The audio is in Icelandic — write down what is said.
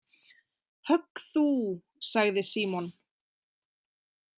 „Högg þú,“ sagði Símon.